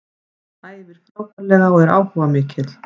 Hann æfir frábærlega og er áhugamikill.